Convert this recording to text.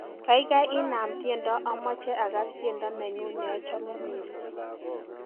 gaigai inaam tiendo amoje agas tiendo nenyun neochome missing